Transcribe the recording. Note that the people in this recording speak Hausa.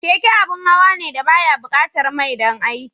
Keke abin hawa ne da ba ya buƙatar mai don aiki.